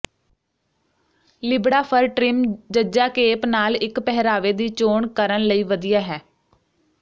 ਲਿਬੜਾ fur trim ਜ cape ਨਾਲ ਇੱਕ ਪਹਿਰਾਵੇ ਦੀ ਚੋਣ ਕਰਨ ਲਈ ਵਧੀਆ ਹੈ